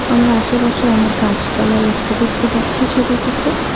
আমরা আশেপাশে অনেক গাছপালা লক্ষ করতে পারছি ছবিটিতে।